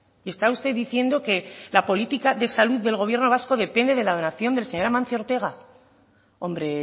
y está usted diciendo que la política de salud del gobierno vasco depende de la donación del señor amancio ortega hombre